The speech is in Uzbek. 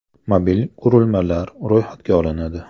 Mobil qurilmalar ro‘yxatga olinadi.